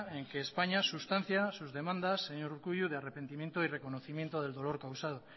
en que españa sustancia sus demandas señor urkullu de arrepentimiento y de reconocimiento del dolor causado